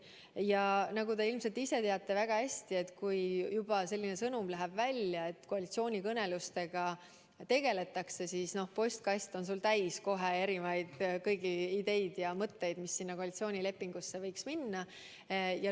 Ja nagu te ilmselt ise väga hästi teate, kui juba selline sõnum on välja länud, et koalitsioonikõnelustega tegeldakse, siis on sul postkast kohe täis erinevaid ideid ja mõtteid, mis koalitsioonilepingusse võiks minna.